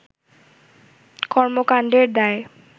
কর্মকান্ডের দায়